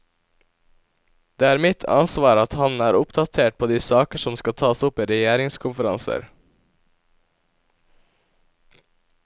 Det er mitt ansvar at han er oppdatert på de saker som skal tas opp i regjeringskonferanser.